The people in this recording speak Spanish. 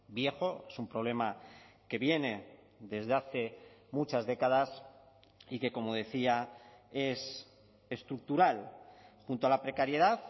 viejo es un problema que viene desde hace muchas décadas y que como decía es estructural junto a la precariedad